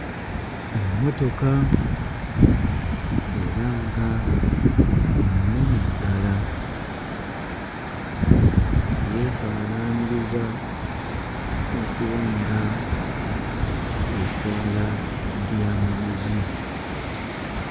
Emmotoka era nga nnene ddala yeefaanaanyiriza okuba nga etwala byamaguzi.